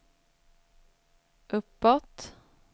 uppåt